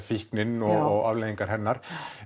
fíknin og afleiðingar hennar